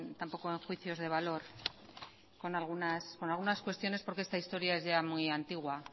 tampoco en juicios de valor con algunas cuestiones porque esta historia es ya muy antigua